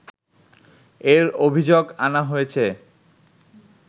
এর অভিযোগ আনা হয়েছে